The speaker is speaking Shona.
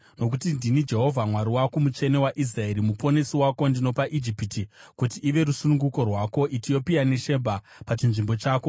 Nokuti ndini Jehovha, Mwari wako, Mutsvene waIsraeri, Muponesi wako; ndinopa Ijipiti kuti ive rusununguko rwako, Etiopia neShebha pachinzvimbo chako.